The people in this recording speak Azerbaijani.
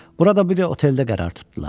Burada bir oteldə qərar tutdular.